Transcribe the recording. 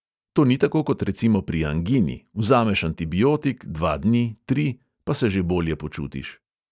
To ni tako kot recimo pri angini – vzameš antibiotik, dva dni, tri, pa se že bolje počutiš.